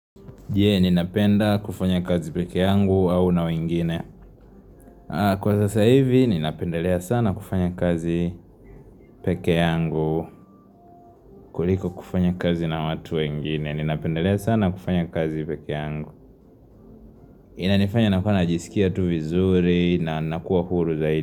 Jee, ninapenda kufanya kazi peke yangu au na wengine. Kwa sasa hivi, ninapendelea sana kufanya kazi peke yangu kuliko kufanya kazi na watu wengine. Ninapendelea sana kufanya kazi peke yangu. Inanifanya nakuwa najisikia tu vizuri na nakua huru zaidi.